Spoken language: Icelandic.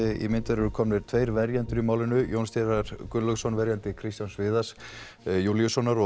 eru komnir tveir verjendur í málinu Jón Steinar Gunnlaugsson verjandi Kristján Viðars Júlíussonar og